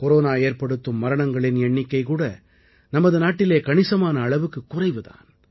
corona ஏற்படுத்தும் மரணங்களின் எண்ணிக்கைகூட நமது நாட்டிலே கணிசமான அளவுக்குக் குறைவு தான்